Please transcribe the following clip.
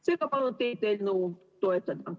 Seega palun teil eelnõu toetada.